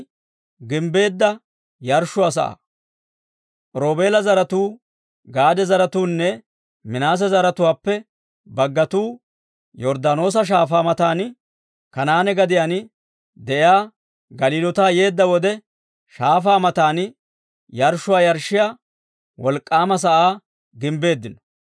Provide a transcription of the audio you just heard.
Roobeela zaratuu, Gaade zaratuunne Minaase zaratuwaappe baggatuu Yorddaanoosa Shaafaa matan Kanaane gadiyaan de'iyaa Galiloota yeedda wode, shaafaa matan yarshshuwaa yarshshiyaa wolk'k'aama sa'aa